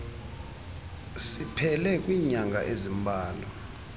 siphele kwiinyanga ezimbalwa